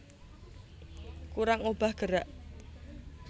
Kurang obah gerak